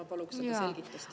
Ma paluksin selle kohta selgitust.